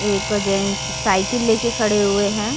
एक gents cycle ले के खड़े हुए हैं।